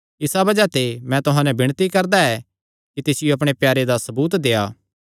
इसा बज़ाह ते मैं तुहां नैं विणती करदा ऐ कि तिसियो अपणे प्यारे दा सबूत देआ